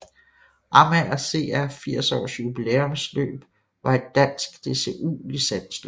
Amager CR 80 års Jubilæumsløb var et dansk DCU licensløb